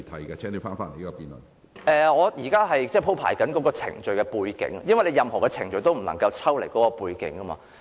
我正在鋪排有關程序的背景，因為任何程序也不能抽離其背景。